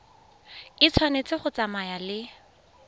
e tshwanetse go tsamaya le